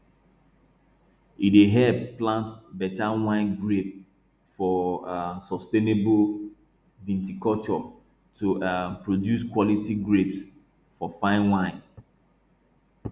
e dey help plant better wine grapes for um sustainable viticulture to um produce quality grapes for fine wine